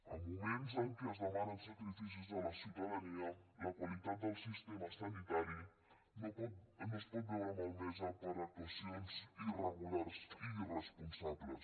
en moments en què es demanen sacrificis a la ciutadania la qualitat del sistema sanitari no es pot veure malmesa per actuacions irregulars i irresponsables